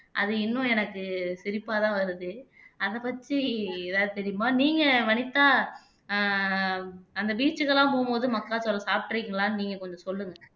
அது இன்னும் எனக்கு சிரிப்பாதான் வருது அதை பற்றி எதாவது தெரியுமா நீங்க வனிதா அஹ் அந்த beach க்கெல்லாம் போகும்போது மக்காச்சோளம் சாப்பிட்டிருக்கீங்களான்னு நீங்க கொஞ்சம் சொல்லுங்க